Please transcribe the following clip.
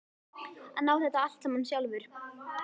Hann á þetta allt saman sjálfur.